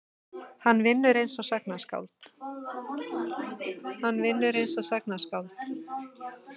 Hann vinnur einsog sagnaskáld.